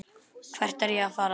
Hvert var ég að fara?